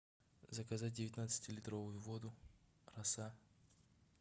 заказать девятнадцатилитровую воду роса